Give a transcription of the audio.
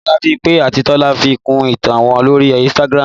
Bọlá, Bímpé àti Tọ́lá fi kún ìtàn wọn lórí Instagram